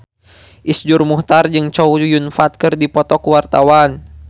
Iszur Muchtar jeung Chow Yun Fat keur dipoto ku wartawan